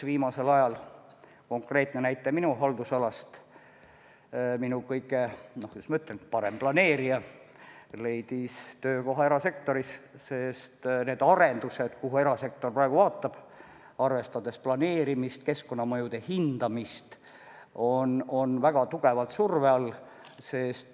Viimasel ajal on tuua ka konkreetne näide minu haldusalast: minu kõige, kuidas ma ütlen, parem planeerija leidis töökoha erasektoris, sest need arendused, kuhu erasektor praegu vaatab, arvestades planeerimist ja keskkonnamõjude hindamist, on väga tugeva surve all.